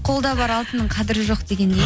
қолда бар алтынның қадірі жоқ дегендей